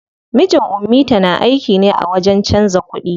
Mijin ummita na aiki ne a wajen canza kuɗi.